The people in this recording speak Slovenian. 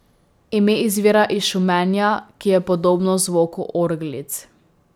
Ime izvira iz šumenja, ki je podobno zvoku orglic.